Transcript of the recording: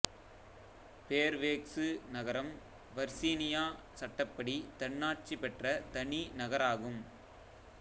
Fairfax நகரம் Virginia சட்டப்படி தன்னாச்சி பெற்ற தனி நகராகும்